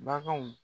Baganw